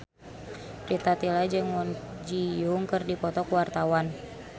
Rita Tila jeung Kwon Ji Yong keur dipoto ku wartawan